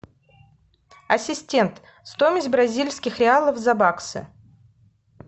ассистент стоимость бразильских реалов за баксы